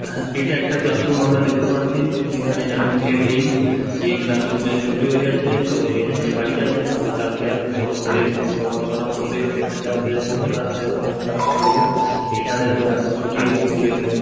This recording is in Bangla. হ্যাঁ এইটা একটা ক্লাসরুম আমরা দেখতে পাচ্ছি যেইখানে এখন কেউ নেই এই ক্লাসরুম এর ছুটি হয়ে গেছে সবাই নিজের নিজের বাড়ি গেছে আবার কালকে আসবে সবাই নিজের প পড়াশোনা করবে এইখানে যার যেরকম ক্লাস সেরকম ক্লাস করবে এখানে তো এখন ছুটি এখন কেউ নেই ।